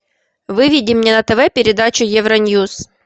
выведи мне на тв передачу евроньюс